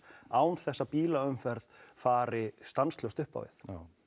án þess að bílaumferð fari stanslaust upp á við